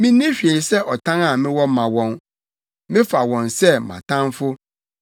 Minni hwee sɛ ɔtan a mewɔ ma wɔn; mefa wɔn sɛ mʼatamfo.